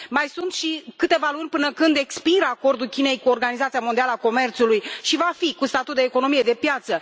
Mai sunt câteva luni până când expiră acordul Chinei cu Organizația Mondială a Comerțului și va fi cu statut de economie de piață.